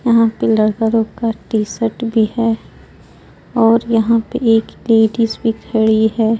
यहां पे लड़का लोग का टीशर्ट भी है और यहां पे एक लेडीज भी खड़ी है.